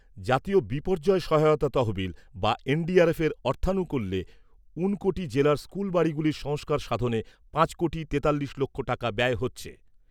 জাতীয় বিপর্যয় সহায়তা তহবিল বা এনডিআরএফের অর্থানুকুল্যে ঊনকোটি জেলার স্কুল বাড়িগুলির সংস্কার সাধনে পাঁচ কোটি তেতাল্লিশ লক্ষ টাকা ব্যয় হচ্ছে।